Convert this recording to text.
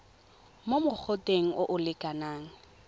mo mogoteng o o lekanang